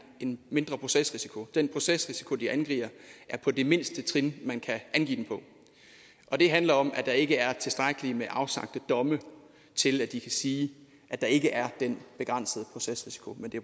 en mindre procesrisiko den procesrisiko de angiver er på det mindste trin man kan angive den på og det handler om at der ikke er tilstrækkeligt med afsagte domme til at de kan sige at der ikke er den begrænsede procesrisiko men det